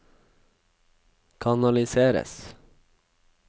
kanaliseres